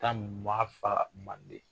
Kan min b'a faa Manden